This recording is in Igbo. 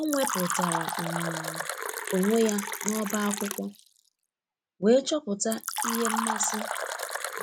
o nweputara um onwe ya na ọba akwụkwo, wee choputa ihe mmasi